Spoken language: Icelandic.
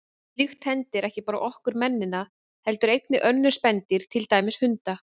Slíkt hendir ekki bara okkur mennina heldur einnig önnur spendýr, til dæmis hunda.